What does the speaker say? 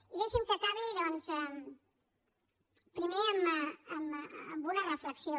i deixi’m que acabi doncs primer amb una reflexió